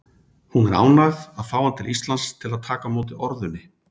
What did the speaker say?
Hún er ánægð að fá hann til Íslands til að taka á móti orðunni.